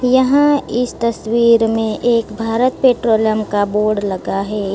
यहां इस तस्वीर में एक भारत पेट्रोलियम का बोर्ड लगा है।